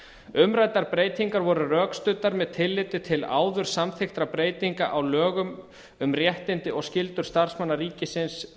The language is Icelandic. umræddar breytingar voru rökstuddar með tilliti til áður samþykktra breytinga á lögum um réttindi og skyldur starfsmanna ríkisins